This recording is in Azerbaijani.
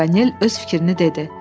Paganel öz fikrini dedi.